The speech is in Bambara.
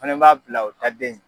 fana b'a bila u ta den ye.